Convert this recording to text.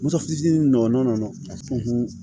Muso fitinin nɔgɔ nunnu a